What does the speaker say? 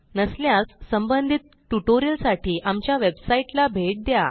नसल्यास संबंधित ट्युटोरियलसाठी आमच्या वेबसाईटला भेट द्या